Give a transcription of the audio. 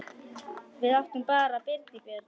Við áttum bara Birgi Björn.